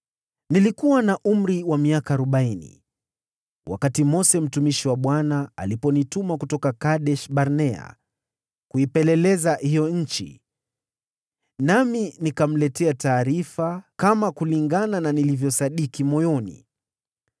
Nilikuwa na umri wa miaka arobaini, wakati Mose mtumishi wa Bwana , aliponituma kutoka Kadesh-Barnea kuipeleleza hiyo nchi. Nami nikamletea taarifa kama kulingana na nilivyosadiki moyoni.